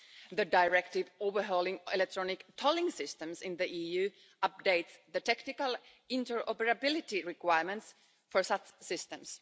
The directive overhauling electronic tolling systems in the EU updates the technical interoperability requirements for such systems.